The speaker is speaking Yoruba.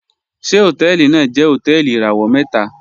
Ṣẹ̀ hotẹẹlì naa jẹ̀ hotẹẹlì irawọ̀ mẹta?